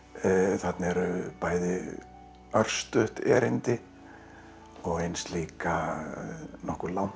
þarna eru bæði örstutt erindi og eins líka nokkuð langt